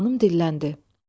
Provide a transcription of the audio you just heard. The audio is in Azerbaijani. Xanım dilləndi: